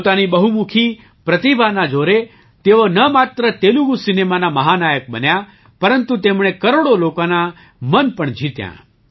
પોતાની બહુમુખી પ્રતિભાના જોરે તેઓ ન માત્ર તેલુગુ સિનેમાના મહાનાયક બન્યા પરંતુ તેમણે કરોડો લોકોનાં મન પણ જીત્યાં